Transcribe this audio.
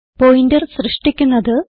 pointer സൃഷ്ടിക്കുന്നത്